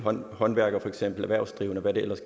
om